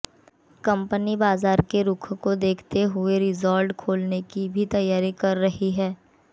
company बाजार के रुख को देखते हुए रिसॉर्ट खोलने की भी तैयारी कर रही है